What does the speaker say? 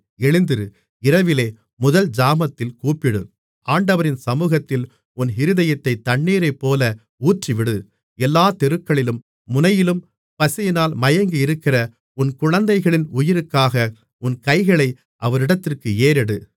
எழுந்திரு இரவிலே முதல் ஜாமத்தில் கூப்பிடு ஆண்டவரின் சமுகத்தில் உன் இருதயத்தைத் தண்ணீரைப்போல ஊற்றிவிடு எல்லாத் தெருக்களின் முனையிலும் பசியினால் மயங்கியிருக்கிற உன் குழந்தைகளின் உயிருக்காக உன் கைகளை அவரிடத்திற்கு ஏறெடு